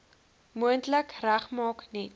moontlik regmaak net